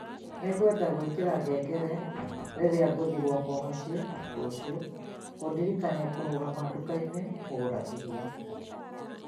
Nĩngwenda gwikira ngengere rĩrĩa ngũthiĩ gwakwa mũciĩ rũciũ, kũndirikania kũrũgama nduka-inĩ, kũgũra irio.